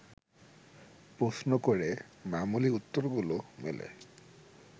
প্রশ্ন করে মামুলি উত্তরগুলো মেলে